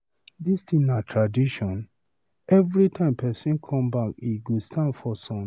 This thing na tradition? Everytime person come bank he go stand for sun.